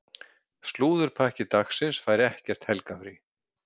Slúðurpakki dagsins fær ekkert helgarfrí.